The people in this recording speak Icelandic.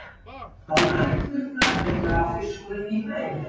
Á næturnar fer bláfiskurinn í fæðuleit.